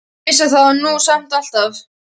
Ég vissi það nú samt alltaf.